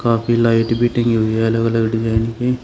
काफी लाइट भी टंगी हुई है अलग अलग डिजाइन की।